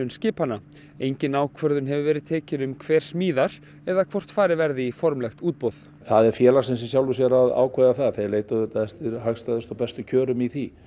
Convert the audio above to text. skipanna engin ákvörðun hefur verið tekin um hver smíðar eða hvort farið verði í formlegt útboð það er félagsins í sjálfu sér að ákveða það en þeir leita auðvitað eftir hagstæðustu og bestu kjörum í því